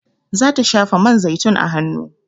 Za ta shafa man zaitun a hanu